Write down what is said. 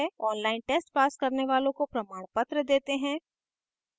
online test pass करने वालोँ को प्रमाणपत्र देते हैं